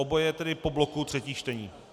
Oboje tedy po bloku třetích čtení.